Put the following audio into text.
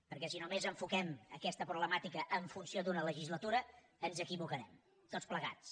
perquè si només enfoquem aquesta problemàtica en funció d’una legislatura ens equivocarem tots plegats